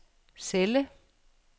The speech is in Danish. celle